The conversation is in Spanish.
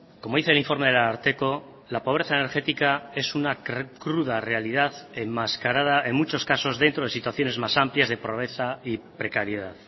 como dice el informe del ararteko la pobreza energética es una cruda realidad enmascarada en muchos casos dentro de situaciones más amplias de pobreza y precariedad